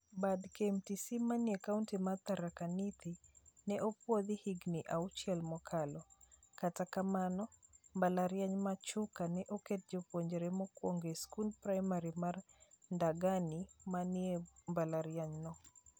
Bad KMTC mane kaunti mar Tharaka Nithi ne opuodhi higni auchiel mokalo. Kata kamano mbalariany ma Chuka ne oketo jopuonjre mokuongo e skund primar mar Ndagani ma ni e mbalariany no.